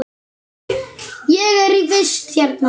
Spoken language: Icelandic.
Ég er í vist hérna.